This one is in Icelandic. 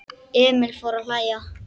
Emil fór að hlæja.